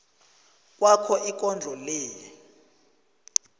kwakho ikondlo le